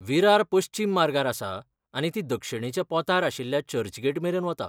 विरार पश्चिम मार्गार आसा आनी ती दक्षिणेच्या पोंतार आशिल्ल्या चर्चगेट मेरेन वता.